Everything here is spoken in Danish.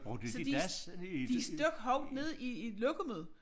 Så de de stak hovedet ned i i lokummet